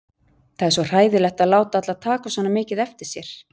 Það er svo hræðilegt að láta alla taka svona mikið eftir sér.